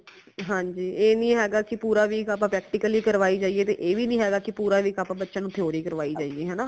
ਹਾਂਜੀ ਐ ਨੀ ਹੈਗਾ ਕਿ ਪੂਰਾ week ਆਪਾ practical ਹੀ ਕਰਵਾਈ ਜਾਈਏ ਤੇ ਐ ਵੀ ਨੀ ਹੈਗਾ ਕਿ ਪੂਰਾ week ਆਪਾ ਬੱਚਿਆਂ ਨੂ theory ਵੀ ਕਰਵਾਈ ਜਾਈਏ ਹਨਾ।